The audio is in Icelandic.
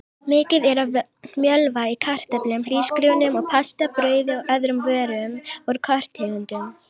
Mikið er af mjölva í kartöflum, hrísgrjónum og pasta, brauði og öðrum vörum úr korntegundum.